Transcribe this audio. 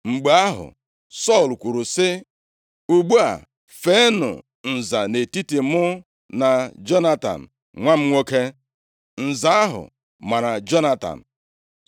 Mgbe ahụ, Sọl kwuru sị, “Ugbu a feenụ nza nʼetiti mụ na Jonatan, nwa m nwoke.” Nza ahụ mara Jonatan.